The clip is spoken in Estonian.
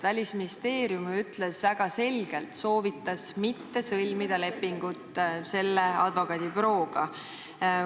Välisministeerium ütles väga selgelt, et ta ei soovita sõlmida lepingut selle advokaadibürooga.